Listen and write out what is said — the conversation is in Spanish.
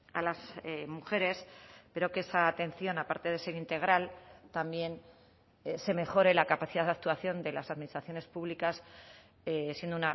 a las mujeres pero que esa atención aparte de ser integral también se mejore la capacidad de actuación de las administraciones públicas siendo